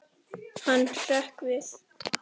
Hann hrökk við.